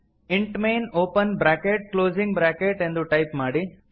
int main open bracket closing bracket ಎಂದು type ಮಾಡಿ